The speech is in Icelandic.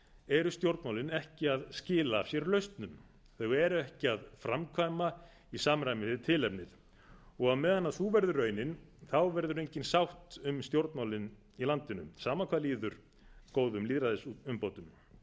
eru stjórnmálin ekki að skila af sér lausnum þau eru ekki að framkvæma í samræmi við tilefnið á meðan sú verður raunin verður engin sátt um stjórnmálin í landinu sama hvað líður góðum lýðræðisumbótum